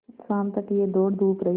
शाम तक यह दौड़धूप रही